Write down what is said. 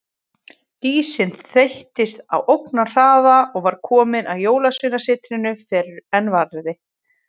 Dísin þeyttist á ógnarhraða og var komin að Jólasveinasetrinu fyrr en varði.